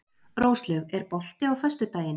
Róslaug, er bolti á föstudaginn?